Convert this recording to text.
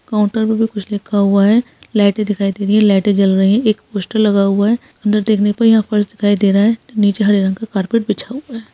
Counter में कुछ लिखा हुआ है लाइटे दिखाइ दे रही है लाइटे जल रही है एक पोस्टर लगा हुआ है अंदर देखने पर यहाँ पर फ़र्श दिखाई दे रहा है नीचे हरे रंग का कारपेट बिछा हुआ है।